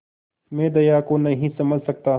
मैं दया को नहीं समझ सकता